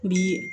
Bi